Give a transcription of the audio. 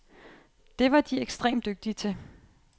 Det var de ekstremt dygtige til.